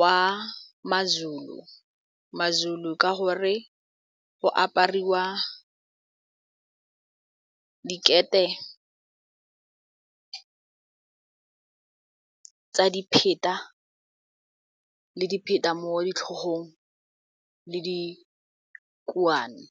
wa mazulu ka gore go apariwa ka dikete tsa dipheta le dipheta mo ditlhogong le dikuane.